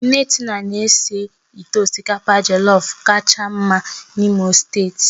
Nne Tina na-ese ite osikapa jellof kacha mma n'Imo steeti